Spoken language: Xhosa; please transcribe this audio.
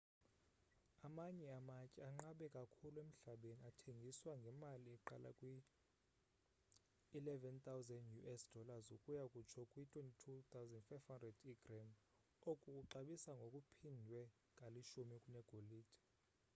amanye amatye anqabe kakhulu emhlabeni athengiswa ngemali eqala kwi-us$11,000 ukuya kutsho kwi-$22,500 igram oku kuxabisa ngokuphindwe kalishumi kunegolide